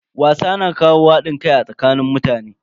Wasa na kawo hadin kai a tsakanin mutane.